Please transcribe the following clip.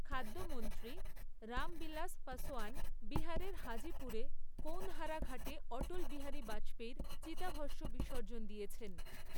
খাদ্যমন্ত্রী রামবিলাস পাসোয়ান বিহারের হাজিপুরে কৌনহারা ঘাটে অটল বিহারী বাজপেয়ীর চিতাভষ্ম বিসর্জন দিয়েছেন